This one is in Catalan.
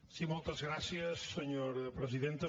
sí moltes gràcies senyora presidenta